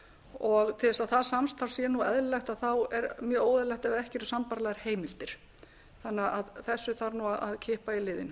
og til að það samstarf sé eðlilegt þá er mjög óeðlilegt að ekki eru sambærilegar heimildir þannig að þessu þarf að kippa í liðinn